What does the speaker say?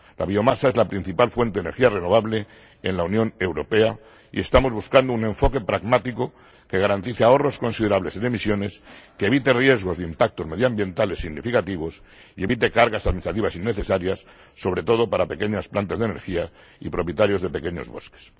La biomasa es la principal fuente de energía renovable en la Unión Europea y estamos buscando un enfoque pragmático que garantice ahorros considerables de emisiones, que evite riesgos de impactos medioambientales significativos y evite cargas administrativas innecesarias, sobre todo para pequeñas plantas de energía y propietarios de pequeños bosques.